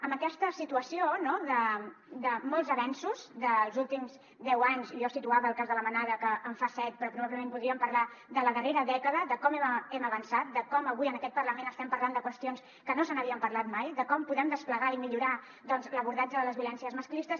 amb aquesta situació de molts avenços dels últims deu anys i jo situava el cas de la manada que en fa set però probablement podríem parlar de la darrera dècada de com hem avançat de com avui en aquest parlament estem parlant de qüestions que no se n’havia parlat mai de com podem desplegar i millorar l’abordatge de les violències masclistes